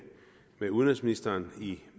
med udenrigsministeren